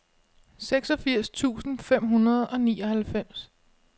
seksogfirs tusind fem hundrede og nioghalvfems